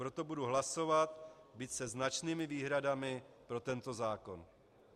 Proto budu hlasovat, byť se značnými výhradami, pro tento zákon.